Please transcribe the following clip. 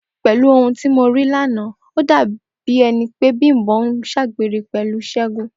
Pè̩lú ohun tí mo rí lánàá, ó dàbí e̩ni pé Bím̀bó̩ ń s̩àgbèrè pè̩lú S̩é̩gun